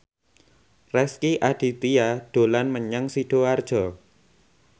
Rezky Aditya dolan menyang Sidoarjo